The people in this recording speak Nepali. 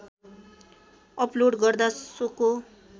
अपलोड गर्दा सोको